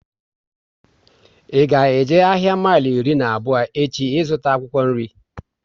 I ga eje ahịa mile iri na abụọ echi ịzụta akwụkwọ nri?